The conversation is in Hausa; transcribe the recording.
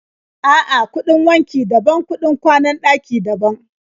A'a, kuɗin wanki daban, kuɗin kwanan ɗaki daban.